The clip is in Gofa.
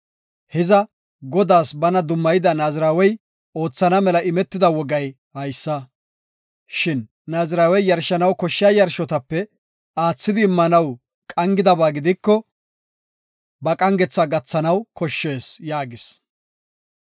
Hiza Godaas bana dummayida Naazirawey oothana mela imetida wogay haysa. Shin naazirawey yarshanaw koshshiya yarshotape aathidi immanaw qangidaba gidiko, ba qangetha gathanaw koshshees” yaagis.